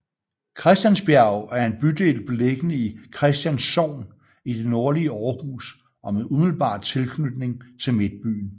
Christiansbjerg er en bydel beliggende i Christians Sogn i det nordlige Aarhus og med umiddelbar tilknytning til midtbyen